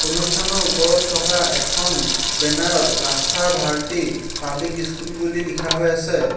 অনুষ্ঠানৰ ওপৰত থকা এখন বেনাৰ ত ৰাস্থা ভাৰতী পাব্লিক ইস্কুল বুলি লিখা হৈ আছে।